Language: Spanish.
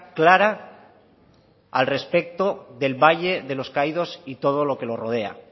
clara al respecto del valle de los caídos y todo lo que lo rodea